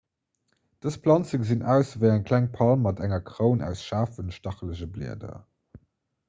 dës planze gesinn aus ewéi eng kleng palm mat enger kroun aus schaarfen stachelege blieder